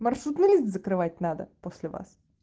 маршрутный лист закрывать надо после вас